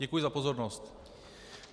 Děkuji za pozornost.